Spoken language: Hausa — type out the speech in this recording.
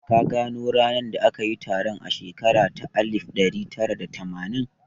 Ka gano ranar da aka yi taron a shekara ta alif ɗari tara da tamanin?